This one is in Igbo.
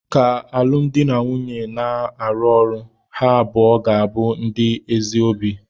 Ka alụmdi na nwunye na-arụ ọrụ, ha abụọ ga-abụ ndị ezi obi.